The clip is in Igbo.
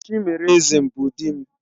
Chimereze bụ di m.